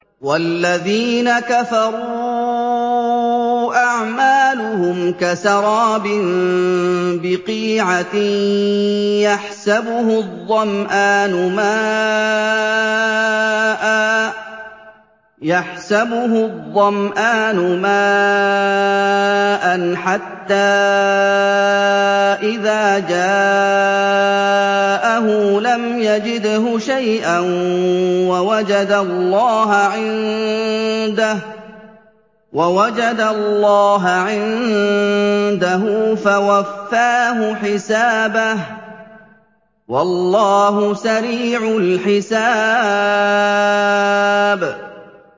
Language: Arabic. وَالَّذِينَ كَفَرُوا أَعْمَالُهُمْ كَسَرَابٍ بِقِيعَةٍ يَحْسَبُهُ الظَّمْآنُ مَاءً حَتَّىٰ إِذَا جَاءَهُ لَمْ يَجِدْهُ شَيْئًا وَوَجَدَ اللَّهَ عِندَهُ فَوَفَّاهُ حِسَابَهُ ۗ وَاللَّهُ سَرِيعُ الْحِسَابِ